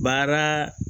Baara